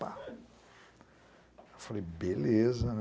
Falei, beleza, né.